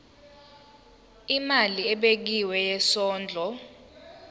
imali ebekiwe yesondlo